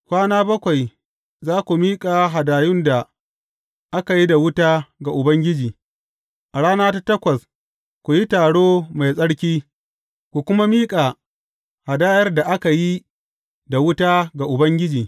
Kwana bakwai za ku miƙa hadayun da aka yi da wuta ga Ubangiji, a rana ta takwas, ku yi taro mai tsarki, ku kuma miƙa hadayar da aka yi da wuta ga Ubangiji.